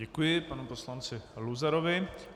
Děkuji panu poslanci Luzarovi.